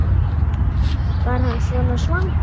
Var hann svona svangur?